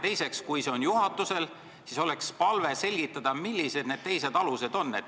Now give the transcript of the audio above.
Teiseks, kui see õigus on juhatusel, siis oleks palve selgitada, milline see teine alus on.